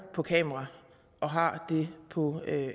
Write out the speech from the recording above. på kamera og har det på